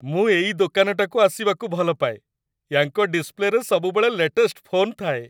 ମୁଁ ଏଇ ଦୋକାନଟାକୁ ଆସିବାକୁ ଭଲ ପାଏ। ୟାଙ୍କ ଡିସ୍‌ପ୍ଲେରେ ସବୁବେଳେ ଲେଟେଷ୍ଟ ଫୋନ୍ ଥାଏ ।